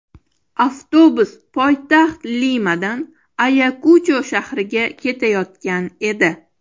Avtobus poytaxt Limadan Ayakucho shahriga ketayotgan edi.